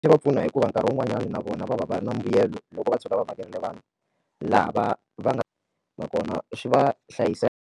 Swi va pfuna hikuva nkarhi wun'wanyana na vona va va va ri na mbuyelo loko va tshuka va vhakerile vanhu lava va nga nakona swi va .